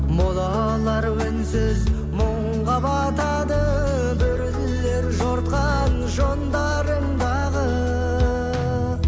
молалар үнсіз мұңға батады бүрілер жортқан жондарыңдағы